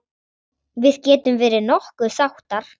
Við getum verið nokkuð sáttar.